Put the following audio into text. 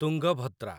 Tungabhadra